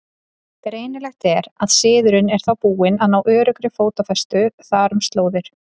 Greinilegt er, að siðurinn er þá búinn að ná öruggri fótfestu þar um slóðir.